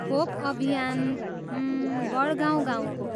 खोप अभियान, हम्, वडगाउँ गाँउको।